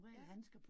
Ja